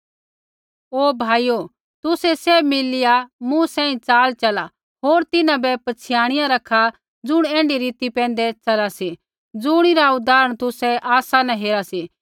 ओ भाइयो तुसै सैभ मिलिया मूँ सेंई चाल चला होर तिन्हां बै पछ़ियाणिया रखा ज़ुण ऐण्ढी रीति पैंधै चला सी ज़ुणिरा उदाहरण तुसै आसा न हेरा सी